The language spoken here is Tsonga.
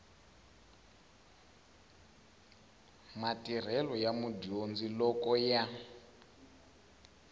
matirhelo ya mudyondzi loko ya